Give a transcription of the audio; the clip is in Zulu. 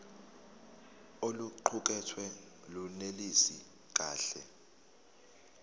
oluqukethwe lunelisi kahle